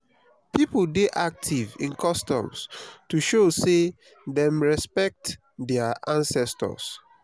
pipo dey active in customs to show say dem respekt dia ancestors